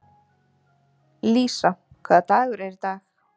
Lísa, hvaða dagur er í dag?